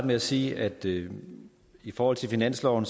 med at sige at det jo i forhold til finansloven